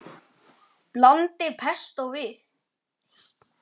Blandið pestó við.